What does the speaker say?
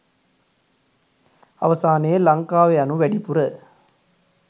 අවසානයේ ලංකාව යනු වැඩිපුර